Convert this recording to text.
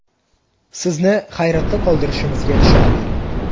Sizni hayratda qoldirishimizga ishonavering.